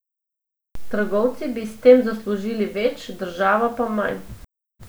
Trgovci bi s tem zaslužili več, država pa manj.